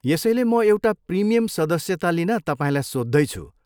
यसैले म एउटा प्रिमियम सदस्यता लिन तपाईँलाई सोद्धैछु।